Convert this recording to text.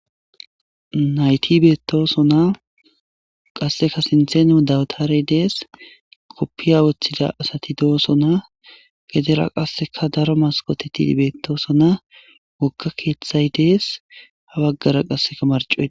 nayti beetosonna qasseka sintheno dawtaarey dees koppiya woththida asati do7osona gedera qasseka daro maskotetii beettoosona wokka keeththay dees ha baggara qassekamarcoee